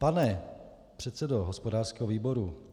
Pane předsedo hospodářského výboru -